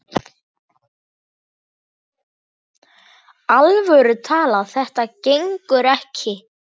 alvöru talað: þetta gengur ekki!